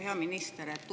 Hea minister!